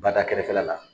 Bada kɛrɛfɛla la